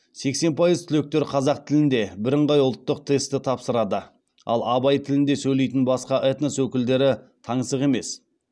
сексен пайыз түлектер қазақ тілінде біріңғай ұлттық тестті тапсырады ал абай тілінде сөйлейтін басқа этнос өкілдері таңсық емес